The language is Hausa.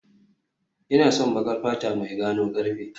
Ina son baƙar fata mai gano karfe